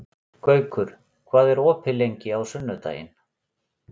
Gaukur, hvað er opið lengi á sunnudaginn?